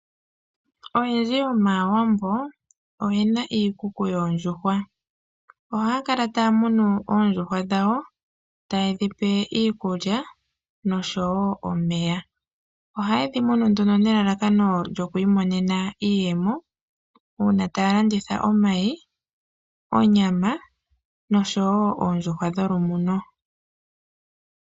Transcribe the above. Oyendji yomaawambo oyena iikuku yoondjuhwa, ohaakala ta yamunu oondjuhwa dhawo taye dhipe iikulya noshowo omeya, ohaye dhimunu nduno nelalakono lyo kwiimonena iiyemo uuna taalanditha omayi, onyama noshowo oondjuhwa dholumuno.